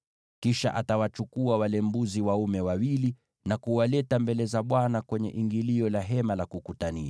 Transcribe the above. Kisha atawachukua wale mbuzi dume wawili na kuwaleta mbele za Bwana kwenye ingilio la Hema la Kukutania.